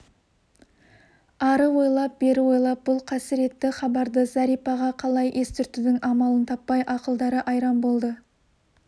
ары ойлап бері ойлап бұл қасіретті хабарды зәрипаға қалай естіртудің амалын таппай ақылдары айран болды